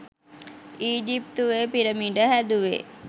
ඊජිප්තුවෙ pyramid හැදුවෙ